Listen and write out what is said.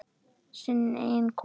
Sinn eiginn kofa.